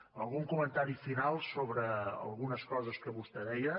algun comentari final sobre algunes coses que vostè deia